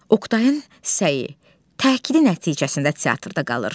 Oktayın səyi, təkidi nəticəsində teatrda qalır.